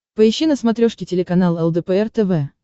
поищи на смотрешке телеканал лдпр тв